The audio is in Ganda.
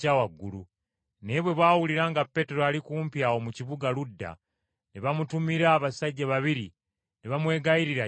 Naye bwe baawulira nga Peetero ali kumpi awo mu kibuga Luda ne bamutumira abasajja babiri ne bamwegayirira ajje e Yopa.